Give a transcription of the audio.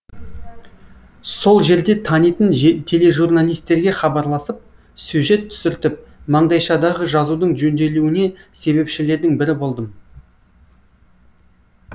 сол жерде танитын тележурналистерге хабарласып сюжет түсіртіп маңдайшадағы жазудың жөнделуіне себепшілердің бірі болдым